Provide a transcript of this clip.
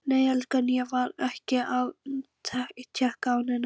Nei elskan, ég var ekki að tékka á neinu.